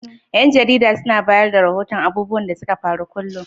Yan jarida suna bayar da rahoton abubuwan da suka faru kulum?